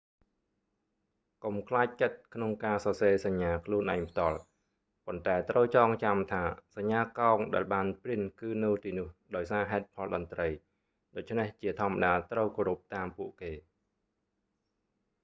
កុំខ្លាចចិត្តក្នុងការសរសេរសញ្ញាខ្លួនឯងផ្ទាល់ ប៉ុន្តែត្រូវចងចាំថាសញ្ញាកោងដែលបានព្រីនគឺនៅទីនោះដោយសារ ហេតុផលតន្រ្តី ដូច្នេះជាធម្មតាត្រូវគោរពតាមពួកគេ